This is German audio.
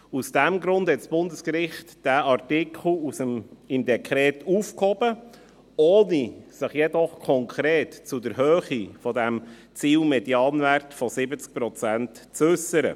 Aus diesem Grund hob das Bundesgericht den Artikel im Dekret auf, ohne sich jedoch konkret zur Höhe des Ziel-Medianwerts von 70 Prozent zu äussern.